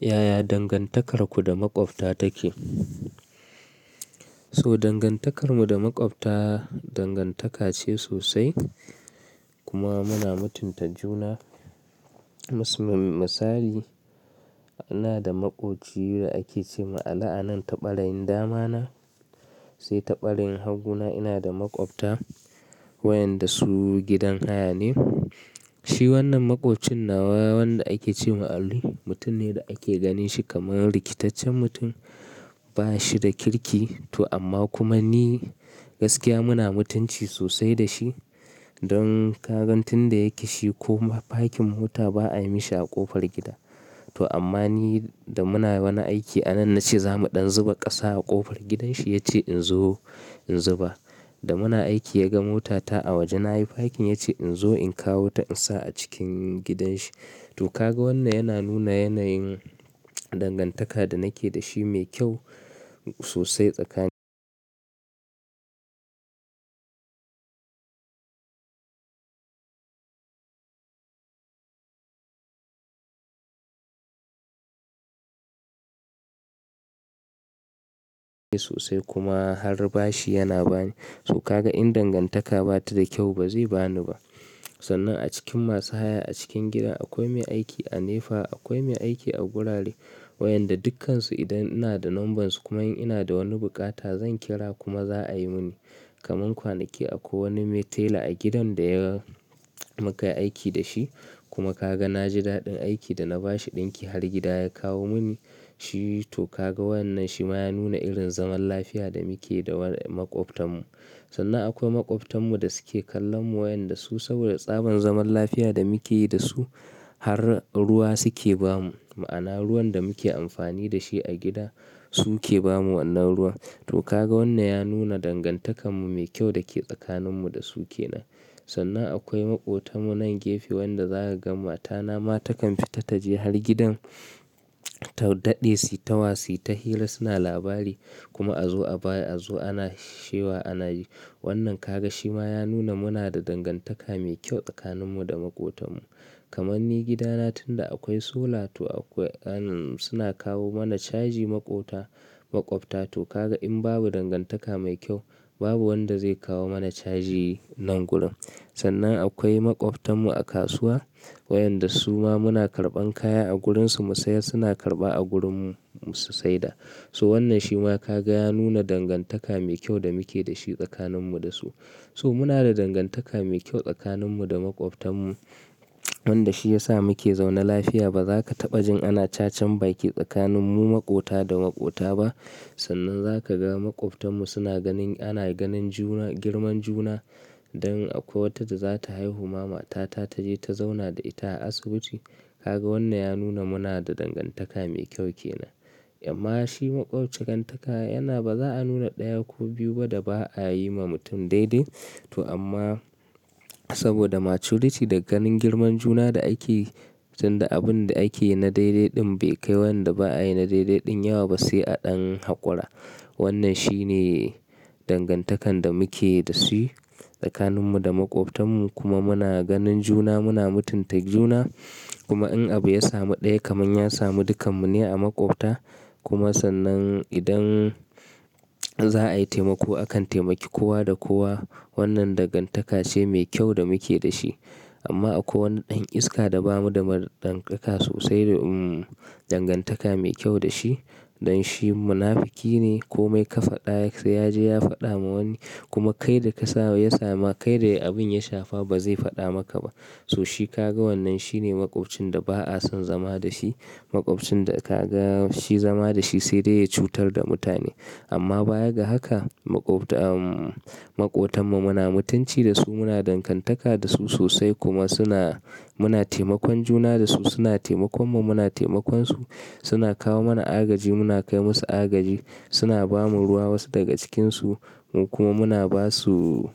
Yaya dangantakarku da maƙwabta take? So dangantakar mu da maƙwabta dangantaka ce sosai kuma muna mutunta juna. Mas-masali, ina da maƙoci da ake ce ma ali anan ta ɓarayin damana, sai ta ɓarayin hagu na ina da maƙwabta wayanda su gidan haya ne. Shi wannan maƙocin na wayanda ake ce ma'ana mutum ne da ake ganin shi kamar rikitaccen mutum, ba shi da kirki. To amma kuma ni gaskiya muna mutunci sosai da shi. Don ka gan tun da ya ki shi ko fakin mota ba ayi mishi a ƙofar gida. To amma ni da muna wani aiki anan nace zamu dan zuba kasa a kofar gidan shi yace inzo inzuba Da muna aiki ya ga mota ta a waje na yi fakin ya ce in zo in kawo ta in sa a cikin gidan shi. To ka ga wannan yana nuna yanayin dangantaka da nake da shi mai kyau sosai tsakanin mu. Sosai kuma har bashi yana bani. To ka ga in dangantaka ba ta da kyau ba zai ba ni ba. Sannan a cikin masu haya a cikin gida akwai mai aiki a nefa, akwai mai aiki a gurare wayanda dukkansu idan ina da nambansu kuma in ina da wani buƙata zan kira kuma za a yi mini. Kaman kwanaki akwai wani mai tela a gidan da ya muka yi aiki da shi kuma ka ga na ji daɗin aiki da na ba shi ɗinki har gida ya kawo mini shi. To ka ga wannan shi ma ya nuna irin zaman lafiya da muke da wa-- maƙwabtarmu. Sannan akwai maƙwabtarmu da suke kallon mu wayanda su saboda tsaban zaman lafiya da muke yi da su har ruwa suke ba mu. Ma'ana ruwan da muke amfani da shi a gida su ke ba mu wannan ruwa. To ka ga wannan ya nuna dangantakar mu mai kyau da ke tsakanin mu da su ke nan. Sannan akwai maƙotan mu nan gefe wanda za ka ga matana ma takan fita ta je har gidan ta daɗe su, ta wasi, ta hira, suna labari kuma a zo a baya, a zo ana sha wa, ana yi. Wannan ka ga shi ma ya nuna muna da dangantaka mai kyau tsakanin mu da maƙotan mu. Kamar ni gidan tunda akwai solar to akwai tsarin suna kawo mamu caji makwabta to ka ga in babu dangantaka mai kyau babu wanda zai kawo mana caji nan gurin. Sannan akwai maƙwabtarmu a kasuwa wayanda su ma muna karɓan kaya a gurinsu mu sayar suna karɓa a gurinmu su saida. So wannan shi ma ka ga ya nuna dangantaka mai kyau da muke da shi tsakanin mu da su. So muna da dangantaka mai kyau tsakanin mu da maƙwabtarmu wanda shi ya sa muke zaune lafiya. Ba za ka taɓa jin ana cacen bake tsakanin mu maƙota da maƙota ba. Sannan za ka ga maƙwabtarmu suna ganin-- ana ganin juna-- girman juna. Don akwai wata da za ta haihu mama ta, ta je ta zauna da ita a asibiti. Ka ga wannan ya nuna muna da dangantaka mai kyau ke nan. Amma shi maƙwabci gangantaka yana ba za a nuna ɗaya ko biyu ba da ba a yi ma mutum daidai. To amma saboda maturity da ganin girman juna da ake tun da abun da ake na daidai ɗin bai kai wanda ba'a yi na daidai ɗin yawa ba sai a ɗan haƙora. Wannan shi ne dangantakan da muke da shi tsakanin mu da maƙwabtarmu kuma muna ganin juna, muna mutunta juna. Kuma in abu ya samu ɗaya kaman ya samu dukkanmu ne a maƙwabta. Kuma sannan idan za a yi taimako akan taimaki kowa da kowa. Wannan dangantaka ce mai kyau da muke da shi. Amma akwai wani ɗan iska da babu da marɗangaka sosai da umm dangantaka mai kyau da shi. Dan shi munafiki ne ko mai kafaɗa sai ya je ya faɗa ma wani kuma kai da ka sa ya samu, kai da abin ya shafa ba zai faɗa maka ba. So shi ka ga wannan shi ne maƙwabcinda ba'a son zama da shi. Maƙwabcinda ka ga shi zama da shi sai dai ya cutar da mutane. Amma baya ga haka maƙwabta-- umm maƙotan mu muna mutunci da su, muna dangantaka da su sosai kuma suna-- muna taimakon juna da su, suna taimakon mu muna taimakon su, suna kawo mana agaji, muna kai musu agaji, suna ba mu ruwa wasu daga cikinsu kuma muna basu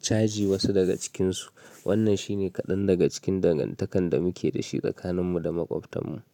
caji wasu daga cikinsu. Wannan shi ne kaɗan daga cikin dangantakan da muke da shi tsakanin mu da maƙwabtarmu.